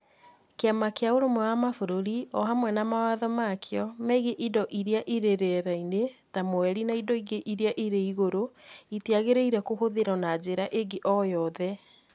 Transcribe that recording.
kĩama kĩa Ũrũmwe wa Mabũrũri, o hamwe na mawatho ma kĩo megiĩ indo iria irĩ rĩera-inĩ, ta Mweri na indo ingĩ iria irĩ igũrũ, itiagĩrĩire kũhũthĩrũo na njĩra ĩngĩ o yothe.